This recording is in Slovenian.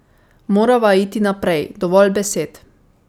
Morava iti naprej, dovolj besed.